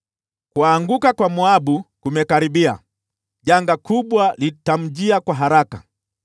“Kuanguka kwa Moabu kumekaribia, janga kubwa litamjia kwa haraka.